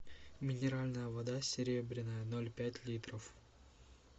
минеральная вода серебряная ноль пять литров